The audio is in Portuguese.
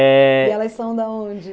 É... E elas são da onde?